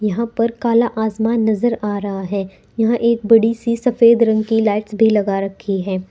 यहां पर काला आसमान नजर आ रहा है यहां एक बड़ी सी सफेद रंग की लाइट्स भी लगा रखी है।